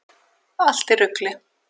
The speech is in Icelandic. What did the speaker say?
Allt í rugli!